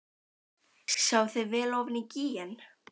Sjáið þið vel ofan í gíginn?